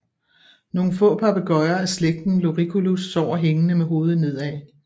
Nogle få papegøjer af slægten Loriculus sover hængende med hovedet nedad